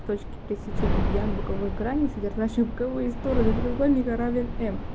точки пересечения медиан боковых граней содержащие боковые стороны треугольника равен м